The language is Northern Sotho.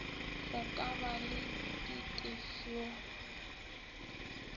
go ka ba le ditefio